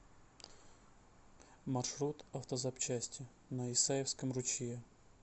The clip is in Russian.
маршрут автозапчасти на исаевском ручье